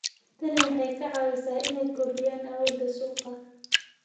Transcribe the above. Tani waxay ka caawisay inay kordhiyaan awoodda suuqa.